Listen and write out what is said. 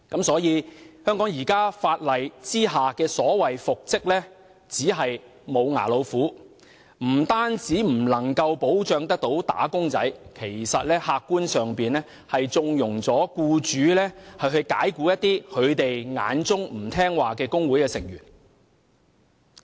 所以，在香港現行法例下，所謂復職令只是"無牙老虎"，不但未能保障"打工仔"，客觀上更縱容僱主解僱他們眼中不聽話的工會成員。